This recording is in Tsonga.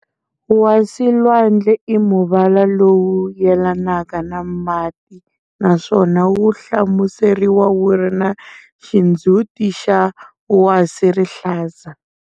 Wasilwandle i muvala lowu yelanaka na mati naswona wu hlamuseriwa wuri na xindzhuti xa wasirihlaza.